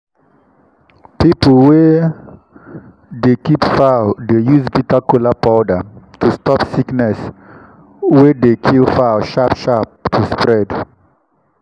people wey dey keep fowl dey use bitter kola powder to stop sickness wey dey kill fowl sharp sharp to spread.